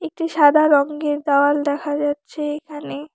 একটি সাদা রঙ্গের দেওয়াল দেখা যাচ্ছে এইখানে।